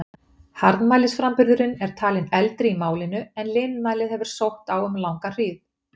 Harðmælisframburðurinn er talinn eldri í málinu, en linmælið hefur sótt á um langa hríð.